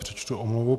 Přečtu omluvu.